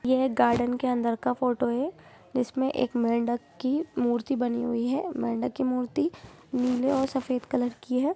यह गार्डन के अंदर का फोटो है जिसमें एक मेंढक की मूर्ति बनी हुई है मेंढक की मूर्ति नीले और सफेद कलर की है।